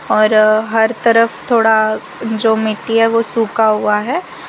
हर तरफ थोड़ा जो मिट्टी है वो सूखा हुआ है।